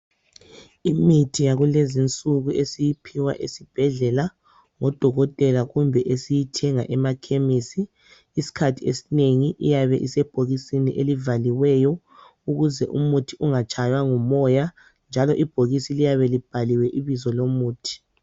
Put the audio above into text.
Imithi yakulezi insuku esiyiphiwa esibhedlela ngodokotela kumbe esiyithenga amakhemisi isikhathi esinengi iyabe isebhokisini elivaliweyo ukuze umuthi ungatshaywa ngumoya njalo ibhokisi liyabe libhaliwe ibizo lomuthi.